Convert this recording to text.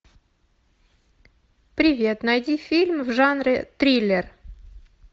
привет найди фильм в жанре триллер